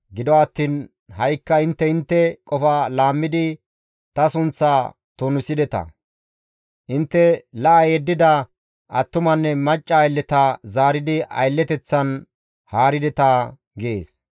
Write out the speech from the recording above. Gido attiin ha7ikka intte intte qofa laammidi ta sunththaa tunisideta. Intte la7a yeddida attumanne macca aylleta zaaridi aylleteththan haarideta» gees.